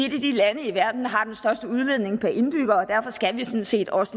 lande i verden der har den største udledning per indbygger og derfor skal vi sådan set også